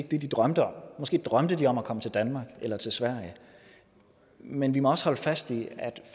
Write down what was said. det de drømte om måske drømte de om at komme til danmark eller til sverige men vi må også holde fast i at